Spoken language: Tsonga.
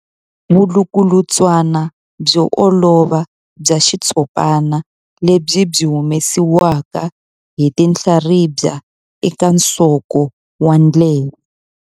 Vulukulutswana byo olova bya xitshopana lebyi byi humesiwaka hi tinhlaribya eka nsoko wa ndleve.